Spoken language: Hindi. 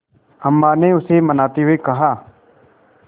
अम्मा ने उसे मनाते हुए कहा